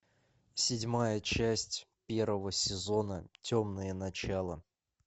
седьмая часть первого сезона темное начало